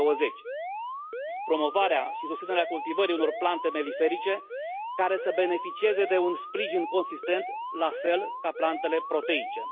2020. Promovarea și susținerea cultivării unor plante melifere care să beneficieze de un sprijin consistent, la fel ca plantele proteice.